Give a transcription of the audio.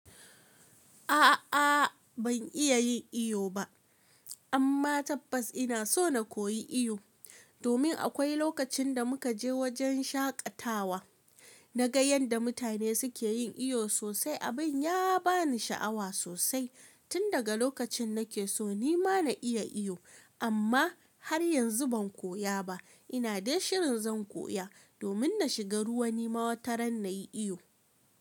A'a ban iya yin iyo ba, amma tabbas ina so na koyi iyo. Domin akwai lokacin da muka je wajen shaƙatawa, na ga yadda mutane suke yin iyo sosai. Abin ya ba ni sha'awa sosai. Tun daga lokacin na ke so ni ma na iya iyo, amma har yanzu ban koya ba. Ina dai shirin zan koya, domin na shiga ruwa ni ma wataran na yi iyo.